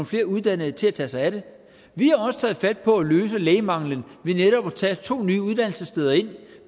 flere uddannede til at tage sig af det vi har også taget fat på at løse lægemanglen ved netop at tage to nye uddannelsessteder ind